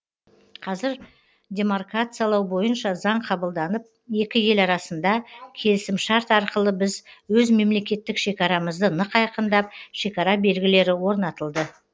қазір демаркациялау бойынша заң қабылданып екі ел арасында келісімшарт арқылы біз өз мемлекеттік шекарамызды нық айқындап шекара белгілері орнатылды